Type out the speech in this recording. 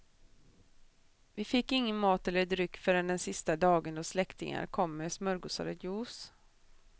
Vi fick ingen mat eller dryck förrän den sista dagen då släktingar kom med smörgåsar och juice.